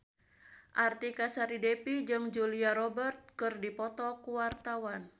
Artika Sari Devi jeung Julia Robert keur dipoto ku wartawan